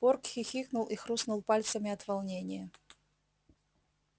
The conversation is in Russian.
порк хихикнул и хрустнул пальцами от волнения